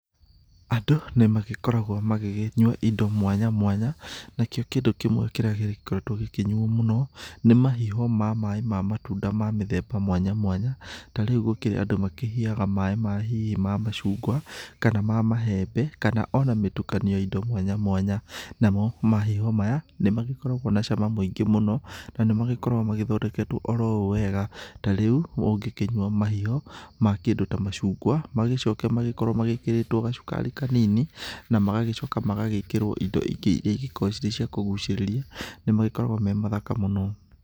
Andũ nĩ magĩkoragwo magĩgĩnyua indo mwanya mwanya, nakĩo kĩndũ kĩmwe kĩrĩa gĩkoretwo gĩkĩnyuo mũno nĩ mahiho ma maĩ ma matunda ma mĩthemba mwanya mwanya ta rĩu gũkĩrĩ andũ makĩhihaga maĩ ma hihi maĩ ma macungwa kana ma mahembe kana o na mĩtukanio ya indo mwanya mwanya, namo mahiho maya nĩ magĩkoragwo na cama mũingĩ mũno, na nĩ makoragwo magĩthondeketwo oro ũũ wega, ta rĩu ũngĩkĩnyua mahiho ma kĩndũ ta macungwa, magĩcoke magĩkorwo magĩkĩrĩtwo gacukari kanini, na magagĩcoka magagĩkĩrwo indo ingĩ iria igĩkoragwo irĩ cia kũgucĩrĩria nĩ magĩkoragwo me mathaka mũno.